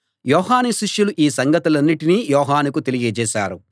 యోహాను శిష్యులు ఈ సంగతులన్నటినీ యోహానుకు తెలియజేశారు